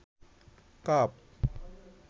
cup